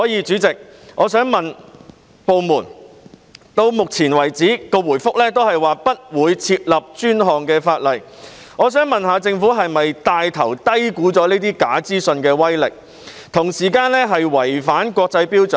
主席，到目前為止，部門的答覆都是不會訂立專項法例，我想問政府是否帶頭低估這些假資訊的威力，同時違反國際標準？